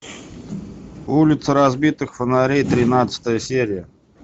улица разбитых фонарей тринадцатая серия